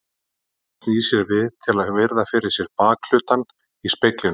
Mamma snýr sér við til að virða fyrir sér bakhlutann í speglinum.